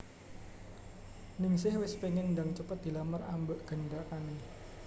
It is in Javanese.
Ningsih wes pengen ndang cepet dilamar ambek gendakane